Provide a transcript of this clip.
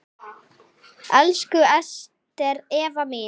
Elsku Ester Eva mín.